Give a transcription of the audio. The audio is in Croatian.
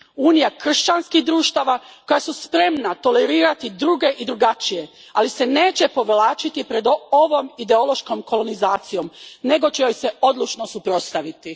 Unija kršćanskih društava koja su spremna tolerirati druge i drukčije, ali se neće povlačiti pred ovom ideološkom kolonizacijom nego će joj se odlučno suprotstaviti.